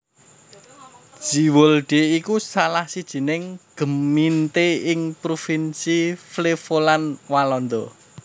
Zeewolde iku salah sijining gemeente ing provinsi Flevoland Walanda